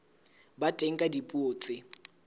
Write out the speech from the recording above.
ba teng ka dipuo tse